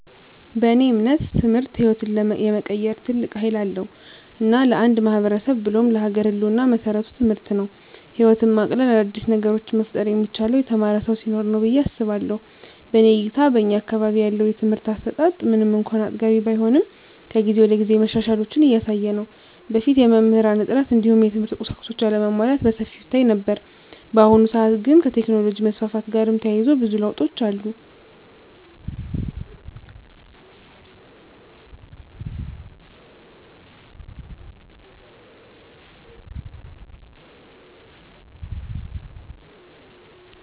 በእኔ እምነት ትምህርት ህይወትን የመቀየር ትልቅ ሀይል አለዉ። እና ለአንድ ማህበረሰብ ብሎም ለሀገር ህልወና መሰረቱ ትምህርት ነው። ህይወትን ማቅለል : አዳዲስ ነገሮችን መፍጠር የሚቻለው የተማረ ሰው ሲኖር ነው ብየ አስባለሁ። በእኔ እይታ በእኛ አካባቢ ያለው የትምህርት አሰጣት ምንም እንኳን አጥጋቢ ባይሆንም ከጊዜ ወደጊዜ መሻሻሎችን እያሳየ ነው። በፊት የመምህራን እጥረት እንዲሁም የትምህርት ቁሳቁሶች አለመሟላት በሰፊው ይታይ ነበር። በአሁኑ ሰአት ግን ከቴክኖሎጅ መስፋፋት ጋርም ተያይዞ ብዙ ለውጦች አሉ።